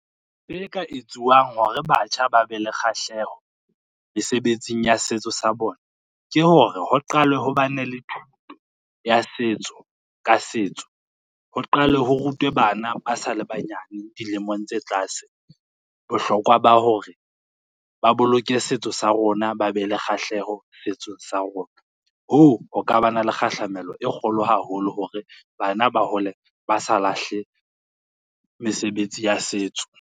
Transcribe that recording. E ka etsuwang hore batjha ba be le kgahleho mesebetsing ya setso sa bona, ke hore ho qalwe ho bane le thuto ya setso ka setso, ho qalwe ho rutwe bana ba sa le banyane dilemong tse tlase, bohlokwa ba hore ba boloke setso sa rona ba be le kgahleho setsong sa rona. Hoo ho ka ba na le kgahlamelo e kgolo haholo hore bana ba hole ba sa lahle mesebetsi ya setso.